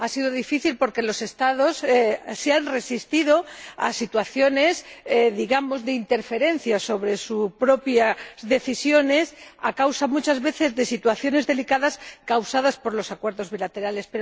Ha sido difícil porque los Estados se han resistido a situaciones de interferencia sobre sus propias decisiones a causa, muchas veces, de situaciones delicadas causadas por los acuerdos bilaterales.